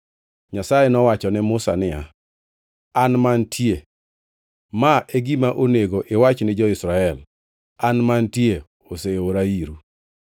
Nyasaye nowacho ne Musa niya, “AN MANTIE. Ma e gima onego iwach ni jo-Israel, ‘AN MANTIE oseora iru.’ ”